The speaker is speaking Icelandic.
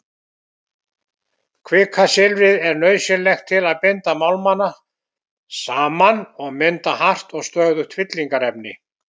Kvikasilfrið er nauðsynlegt til að binda málmana saman og mynda hart og stöðugt fyllingarefni.